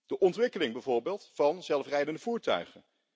De ontwikkeling bijvoorbeeld van zelfrijdende voertuigen.